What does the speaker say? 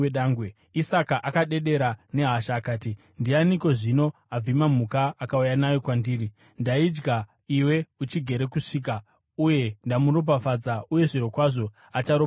Isaka akadedera nehasha akati, “Ndianiko zvino, avhima mhuka akauya nayo kwandiri? Ndaidya iwe uchigere kusvika uye ndamuropafadza, uye zvirokwazvo acharopafadzwa!”